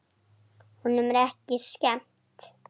Honum er ekki skemmt.